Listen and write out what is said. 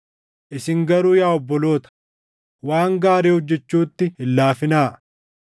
Isin garuu yaa obboloota, waan gaarii hojjechuutti hin laafinaa.